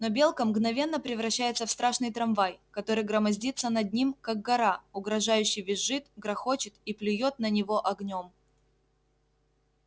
но белка мгновенно превращается в страшный трамвай который громоздится над ним как гора угрожающе визжит грохочет и плюёт на него огнём